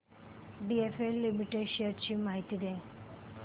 DLF limited shares ची माहिती दे